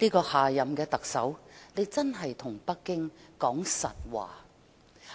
希望下任特首可以對北京說實話。